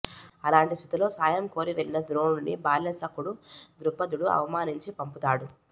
అలాంటి స్థితిలో సాయం కోరి వెళ్లిన ద్రోణుడిని బాల్య సఖుడు ద్రుపదుడు అవమానించి పంపుతాడు